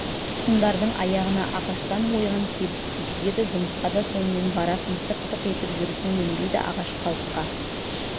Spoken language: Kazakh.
тұтқындардың аяғына ағаштан ойған кебіс кигізеді жұмысқа да сонымен барасың тық-тық етіп жүрісің өнбейді ағаш қалыпқа